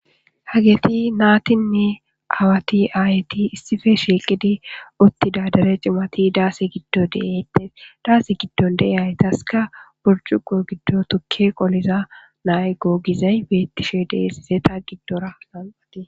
hageeti naatinne awati aayti issife shieqidi uttida dere cimati daasi giddo deetea daasi giddon dee'aytaska burcuqo giddo tukke qoliza nay go gizay beettishe deesiseta giddorakka